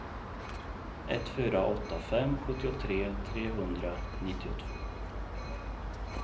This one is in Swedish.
ett fyra åtta fem sjuttiotre trehundranittiotvå